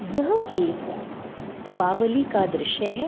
यह एक दीपावली का दृश्य है।